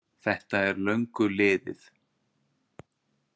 Þetta er löngu liðið!